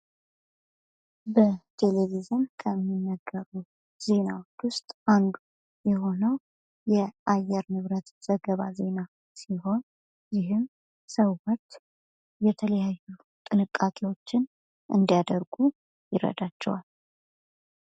በቴሌቪዥን ከሚዘገቡ ዜናዎች ውስጥ አንዱ የሆነው የአየር ንብረት ዜና ዘገባ ሲሆን ይህም ሰዎች የተለያዩ ጥንቃቄዎችን እንዲያደርጉ ይረዳቸዋል።